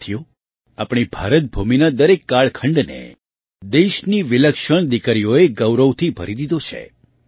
સાથીઓ આપણી ભારતભૂમિના દરેક કાળખંડને દેશની વિલક્ષણ દીકરીઓએ ગૌરવથી ભરી દીધો છે